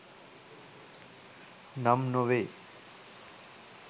නම් නොවේ